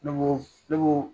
Ne